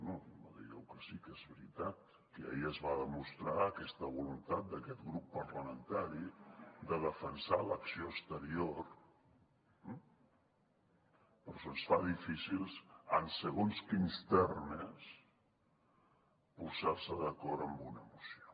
no no no digueu que sí que és veritat que ahir es va demostrar aquesta voluntat d’aquest grup parlamentari de defensar l’acció exterior però se’ns fa difícil en segons quins termes posar se d’acord en una moció